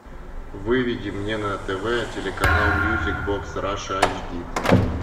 выведи мне на тв телеканал мьюзик бокс раша айч ди